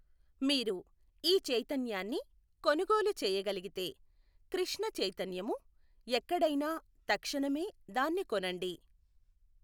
మీరు ఈ చైతన్యాన్ని కొనుగోలు చేయగలిగితే కృష్ణ చైతన్యము ఎక్కడైనా తక్షణమే దాన్ని కొనండి.